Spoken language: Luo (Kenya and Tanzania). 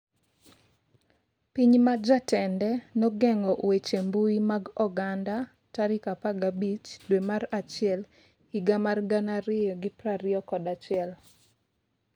Piny ma jatende nogeng'o weche mbui mag oganda 15 dwe mar achiel higa mar 2021